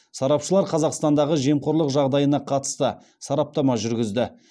сарапшылар қазақстандағы жемқорлық жағдайына қатысты сараптама жүргізді